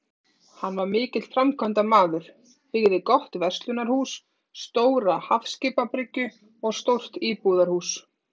Hann var mikill framkvæmdamaður, byggði gott verslunarhús, stóra hafskipabryggju og stórt íbúðarhús.